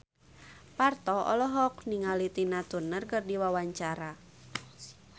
Parto olohok ningali Tina Turner keur diwawancara